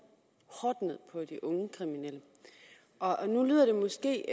på de unge kriminelle og nu lyder det måske